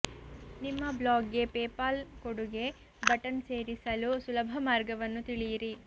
ನಿಮ್ಮ ಬ್ಲಾಗ್ಗೆ ಪೇಪಾಲ್ ಕೊಡುಗೆ ಬಟನ್ ಸೇರಿಸಲು ಸುಲಭ ಮಾರ್ಗವನ್ನು ತಿಳಿಯಿರಿ